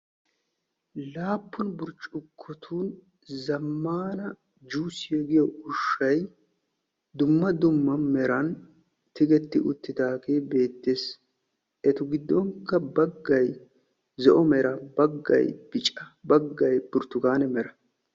Laappun burccukkotun zammana juusiya giyo ushshay dumma dumma meran tigetti uttidaage beettes. Etu gidonkka baggay zo''o mera baggay bicca baggay burtukkaane mera.